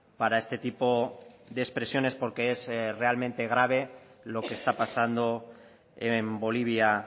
para este tipo de expresiones porque es realmente grave lo que está pasando en bolivia